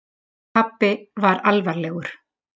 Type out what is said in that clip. Pabbi var alvarlegur.